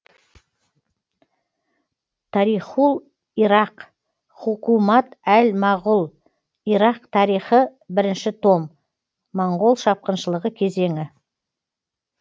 тарихул ирақ хукумат әл мәғул ирақ тарихы бірінші том монғол шапқыншылығы кезеңі